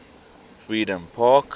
freedompark